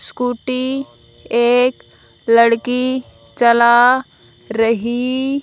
scooty एक लड़की चला रही--